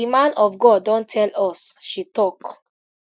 di man of god don tell us she tok